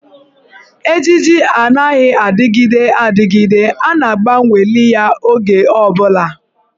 Ejiji anaghị adịgide adịgide, a ga-agbanweli ya oge ọ bụla.